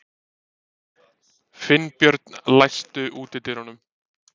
Finnbjörn, læstu útidyrunum.